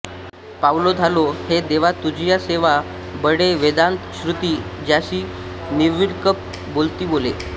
पावलो धालो देवा तुझिया सेवा बळे वेदांत श्रुती ज्यासी निर्विकल्प बोलती बोले